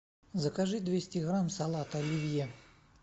закажи двести грамм салата оливье